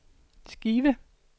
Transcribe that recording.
skive